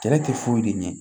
Kɛlɛ tɛ foyi de ɲɛ